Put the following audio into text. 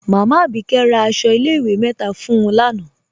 Máámá Abíkẹ̀ rá àṣọ ilẹ̀-ìwé mẹ́ta fún ń lánà.